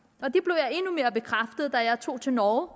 og jeg tog til norge